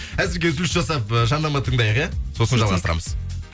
әзірге үзіліс жасап э жарнама тыңдайық иә сосын жалғастырамыз